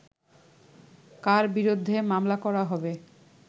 কার বিরুদ্ধে মামলা করা হবে